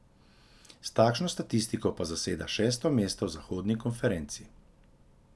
S takšno statistiko pa zaseda šesto mesto v zahodni konferenci.